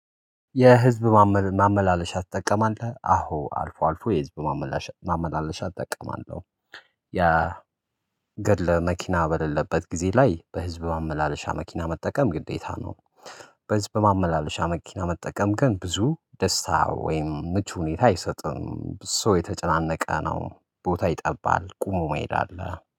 የህዝብ ማመላለሻ ትጠቀማለህ? አዎ አልፎ አልፎ የህዝብ ማመላለሻ ማመላለሻ እጠቀማለሁ። ያ ግለ መኪና በሌለበት ጊዜ ላይ በህዝብ ማመላለሻ መኪና መጠቀም ግዴታ ነው። በህዝብ በማመላለሻ መኪና መጠቀም ግን ብዙ ደስታ ወይም ምቹ ሁኔታ አይሰጥም። ሰው የተጨናነቀ ነው ቦታ ይጠባል ቆሞ መሄድ አለ።